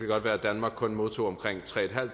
godt være at danmark kun modtog omkring tre